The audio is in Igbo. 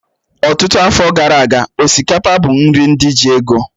Ọtụtụ afọ gara aga, osikapa bụ nri ndị ji ego